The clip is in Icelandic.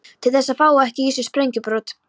Til þess að fá ekki í sig sprengjubrot.